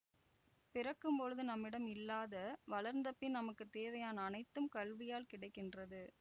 பிறக்கும்பொழுது நம்மிடம் இல்லாத வளர்ந்தபின் நமக்கு தேவையான அனைத்தும் கல்வியால் கிடை கின்றது